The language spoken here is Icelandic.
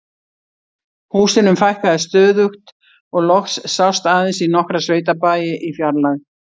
Húsunum fækkaði stöðugt og loks sást aðeins í nokkra sveitabæi í fjarlægð.